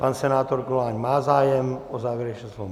Pan senátor Goláň má zájem o závěrečné slovo?